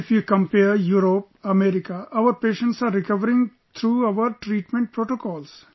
If you compare Europe, America, our patients are recovering through our treatment protocols